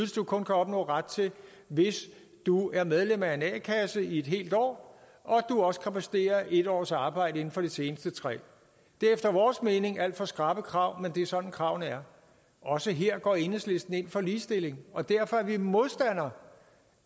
du kun kan opnå ret til hvis du er medlem af en a kasse i et helt år og at du også kan præstere en års arbejde inden for de seneste tre år det er efter vores mening alt for skrappe krav men det er sådan kravene er også her går enhedslisten ind for ligestilling og derfor er vi modstandere